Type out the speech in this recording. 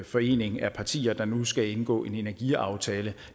forening af partier der nu skal indgå en energiaftale